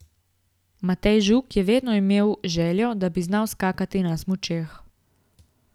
Matej Žuk je vedno imel željo, da bi znal skakati na smučeh.